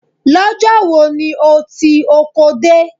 Lọ́jọ́ wo ni o ti oko dé?